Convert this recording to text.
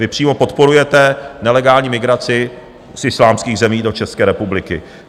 Vy přímo podporujete nelegální migraci z islámských zemí do České republiky.